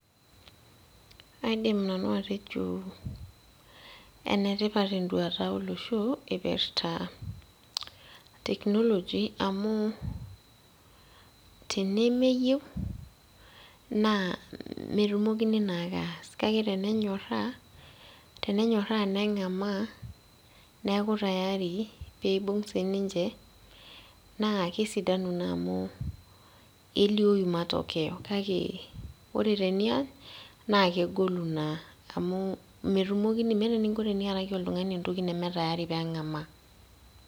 Aidim nanu atejo enetipat enduata olosho ipirrta technology amu tenemeyieu naa metumokini naake aas nenyorra tenenyorra neng'amaa neeku tayari peibung sininche naa kesidanu naa amu elioyu matokeo kake ore teniany naa kegolu naa amu metumokini meeta eninko iaraki oltung'ani entoki neme tayari peng'amaa.